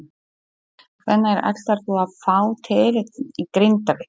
Hvenær ætlarðu að fá titilinn í Grindavík?